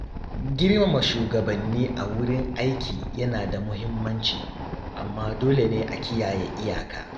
Girmama shugabanni a wurin aiki yana da muhimmanci, amma dole ne a kiyaye iyaka.